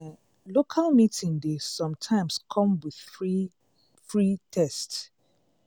local meeting dey sometimes come with free free test.